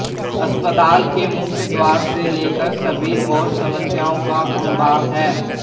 अस्पताल के मुख्य द्वार से लेकर सभी ओर समस्याओं का अम्बार है